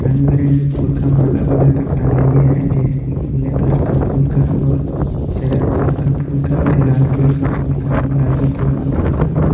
रंग बिरंगे फूल का माला बनाकर टांगा गया है जैसे कि पीला कलर के फूल का और चरक कलर का फूल का और लाल कलर का फूल का गुलाबी कलर का फूल का।